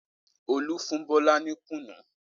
Olú fún Bọ́lá ní kùnú?